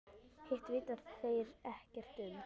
Hitt vita þeir ekkert um.